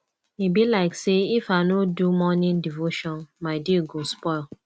e be like sey if i no do morning devotion my day go spoil